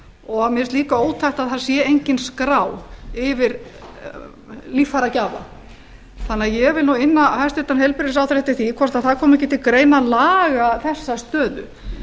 og mér finnst líka ótækt að það sé engin skrá yfir líffæragjafa þannig að ég vil inna hæstvirtan heilbrigðisráðherra eftir því hvort það komi ekki til greina að laga þessa stöðu